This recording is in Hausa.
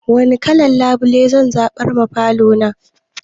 Wani kalan labule zan zaɓar ma falo na?